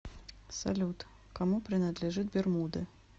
салют кому принадлежит бермуды